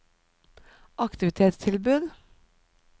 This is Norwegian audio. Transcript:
aktivitetstilbud